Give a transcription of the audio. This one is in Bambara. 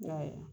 I y'a ye